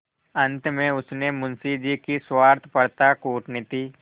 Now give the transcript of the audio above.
अंत में उसने मुंशी जी की स्वार्थपरता कूटनीति